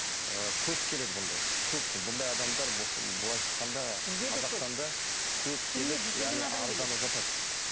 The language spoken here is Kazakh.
ы көп келеді бұндай көп бұндай адамдар болсын былайша айтқанда бізде де көп